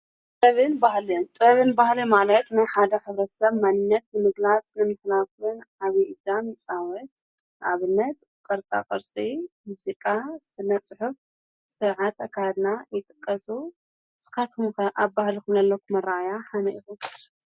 ጥበበብን ባህልን፣ ጥበበብን ባህልን ማለት ናይ ሓደ ኅብረሰብ ማኒነት ንምግላጽ ንምክናርን ዓብይ እጃም ይፃወት። ኣብነት ቐርፃ ቐርጺ፣ ሙዜቃ፣ ስነጽሑፍ ሥርዓት ኣካድና ይጥቀሱ። ንሳትኩም ከ ኣብ ባህል ዘለኩም ኣራኣእያ ከመይ ኢኩም?